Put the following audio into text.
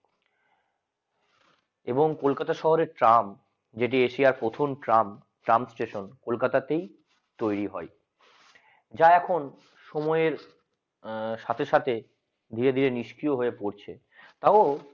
এবং কলকাতা শহরের ট্রাম জেটিয়া শেয়ার প্রথম ট্রাম ট্রাম station কলকাতা তেই তৈরি হয় যা এখন সময়ের সাথে সাথে ধীরে ধীরে নিষ্ক্রিয় ও হয়ে পড়ছে তাও